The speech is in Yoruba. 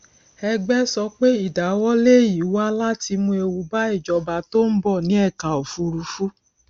ẹgbẹ sọ pé ìdáwọlé yìí wá láti mú ewu bá ìjọba tó ń bọ ní ẹka òfùrúfú